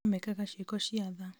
no mekaga ciĩko cia tha